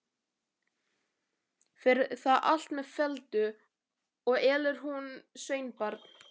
Fer það allt með felldu, og elur hún sveinbarn.